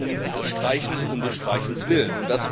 Es geht um das Streichen um des Streichens willen.